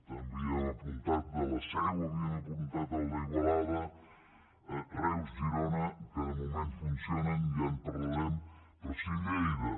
també havíem apuntat el de la seu havíem apuntat el d’igualada reus girona que de moment funcionen ja en parlarem però sí lleida